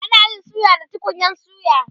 ana Yi suya da tukunyan suya